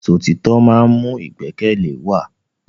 Ìṣọ̀títọ́ má ń mú ìgbẹ́kẹ̀lé wa.